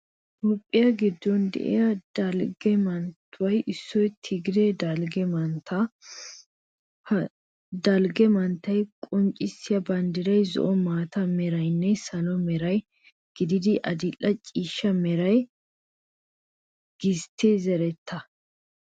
Toophphiya giddon de'iya dalgga manttetuppe issoy tigiraaye dalgga manttiya. Ha dalgga manttiya qonccissiya banddiray zo"o, maata meranne salo mera gididi adil"e ciishsha mera gisttiya zerettaa.